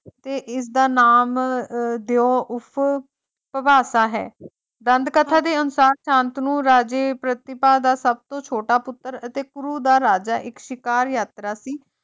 ਤੇ ਇਸ ਦਾ ਨਾਮ ਦੇਓ ਉਫ਼ ਭੁਵਾਤਾ ਹੈ ਦੰਦ ਕਥਾ ਦੇ ਅਨੁਸਾਰ ਸ਼ਾਂਤਨੂ ਰਾਜੇ ਪ੍ਰਤਿਪਾ ਦਾ ਸਭਤੋਂ ਛੋਟਾ ਪੁੱਤਰ ਅਤੇ ਕਰੂ ਦਾ ਰਾਜਾ ਇੱਕ ਸ਼ਿਕਾਰ ਯਾਤਰਾ ਤੇ ਸੀ,